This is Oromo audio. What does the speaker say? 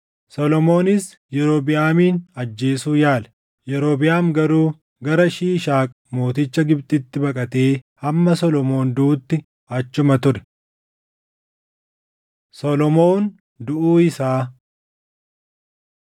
Solomoonis Yerobiʼaamin ajjeesuu yaale; Yerobiʼaam garuu gara Shiishaaq mooticha Gibxitti baqatee hamma Solomoon duʼutti achuma ture. Solomoon Duʼuu Isaa 11:41‑43 kwf – 2Sn 9:29‑31